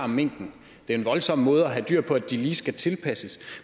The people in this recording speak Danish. minken det er en voldsom måde at have dyr på at de lige skal tilpasses